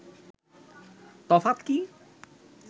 তফাৎ কি